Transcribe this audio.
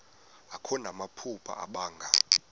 akho namaphupha abanga